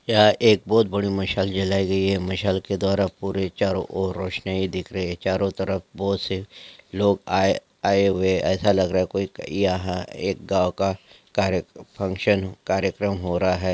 यहाँ एक बहुत बड़ी मसाल जलाई गई हैं मसाल के द्वारा पूरे चारो ओर रोशनी ही दिख रही हैं चारो तरफ बहुत से लोग आए आए हुए ऐसा लग रहा हैं कोई यहाँ एक गांव का कार्य फंक्शन कार्यक्रम हो रहा हैं।